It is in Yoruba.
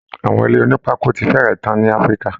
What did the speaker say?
Àwọn ilé onípákó ti fẹ́rẹ̀ tán ní Africa